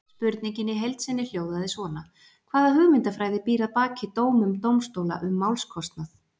Spurningin í heild sinni hljóðaði svona: Hvaða hugmyndafræði býr að baki dómum dómstóla um málskostnað?